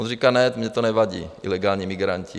On říká: Ne, mně to nevadí, ilegální migranti.